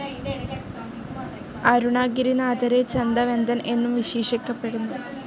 അരുണാഗിരി നാഥരെ ചന്ത വെന്തൻ എന്നും വിശേഷിക്കപ്പെടുന്നു.